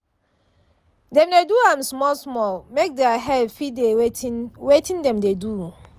dem dey do am small-small make their head fit dey wetin wetin dem dey do.